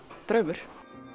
draumur